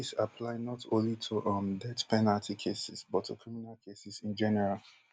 dis apply not only to um death penalty cases but to criminal cases in general